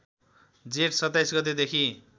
जेठ २७ गतेदेखि